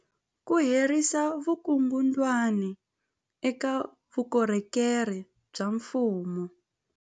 Ku herisa vukungundwani eka vukorhokeri bya mfumo